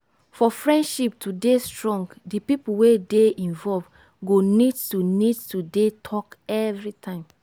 for friendship to dey strong di pipo wey dey involve go need to need to dey talk everytime